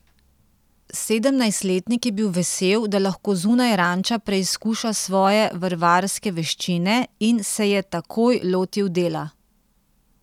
Sedemnajstletnik je bil vesel, da lahko zunaj ranča preizkuša svoje vrvarske veščine in se je takoj lotil dela.